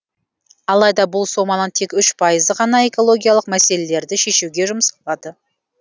алайда бұл соманың тек үш пайызы ғана экологиялық мәселелерді шешуге жұмсалады